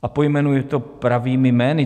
A pojmenuji to pravými jmény.